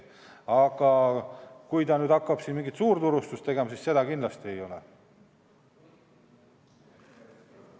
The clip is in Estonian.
Aga kui ta tahab hakata mingit suurturustust tegema, siis seda võimalust tal kindlasti ei ole.